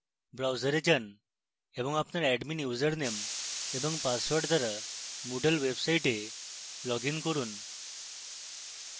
browser যান এবং আপনার admin ইউসারনেম এবং পাসওয়ার্ড দ্বারা moodle website লগইন করুন